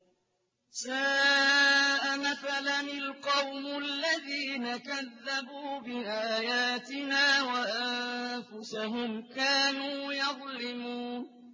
سَاءَ مَثَلًا الْقَوْمُ الَّذِينَ كَذَّبُوا بِآيَاتِنَا وَأَنفُسَهُمْ كَانُوا يَظْلِمُونَ